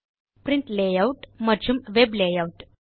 print layout மற்றும்Web layout